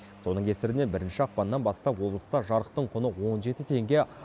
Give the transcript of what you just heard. соның кесірінен бірінші ақпаннан бастап облыста жарықтың құны он жеті теңге